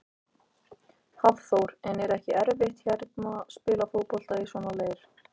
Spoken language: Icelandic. Hafþór: En er ekki erfitt að hérna, spila fótbolta í svona leir?